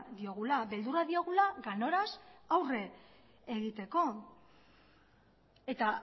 diogula beldurra diogula ganoraz aurre egiteko eta